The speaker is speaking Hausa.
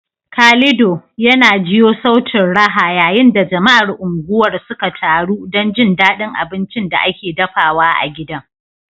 Calido, yana jiyo sautin raha yayin da jama'ar unguwar suka taru don jin daɗin abincin da ake dafawa a gidan.